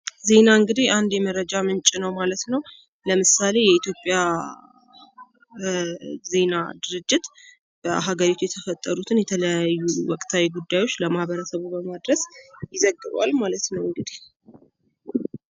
ዜና እንግዲህ አንድ የመረጃ ምንጭ ነው ማለት ነው። ለምሳሌ የኢትዮጵያ ዜና ድርጅት በሀገሪቱ የተፈጠሩትን የተለያዩ ወቅታዊ ጉዳዮች ለማህበረሰቡ በማድረስ ይዘግባል ማለት ነው እንግዲሕ